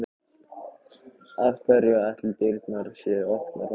Af hverju ætli dyrnar séu opnar þarna?